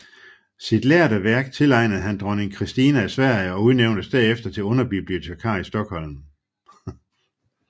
Sit lærde værk tilegnede han dronning Kristina af Sverige og udnævntes derefter til underbibliotekar i Stockholm